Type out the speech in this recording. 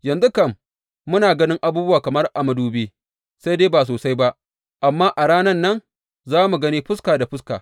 Yanzu kam muna ganin abubuwa kamar a madubi sai dai ba sosai ba, amma a ranan nan za mu gani fuska da fuska.